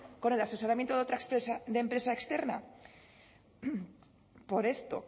con el asesoramiento de otra empresa externa por esto